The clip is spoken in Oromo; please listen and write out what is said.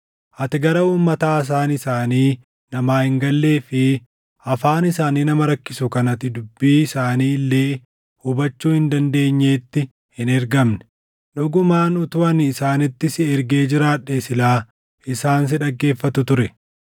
ati gara uummata haasaan isaanii namaa hin gallee fi afaan isaanii nama rakkisu kan ati dubbii isaanii illee hubachuu hin dandeenyeetti hin ergamne. Dhugumaan utuu ani isaanitti si ergee jiraadhee silaa isaan si dhaggeeffatu ture.